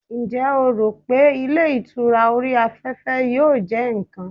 njé o ro pe ilé ìtura ori afefe yíò je nkan